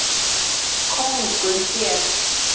Kóngur hét.